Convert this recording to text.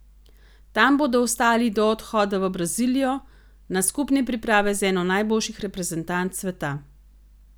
Tam bodo ostali do odhoda v Brazilijo, na skupne priprave z eno najboljših reprezentanc sveta.